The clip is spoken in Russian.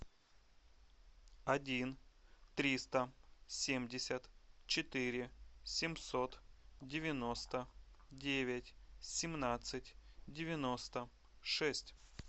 один триста семьдесят четыре семьсот девяносто девять семнадцать девяносто шесть